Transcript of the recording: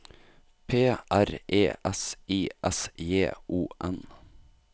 P R E S I S J O N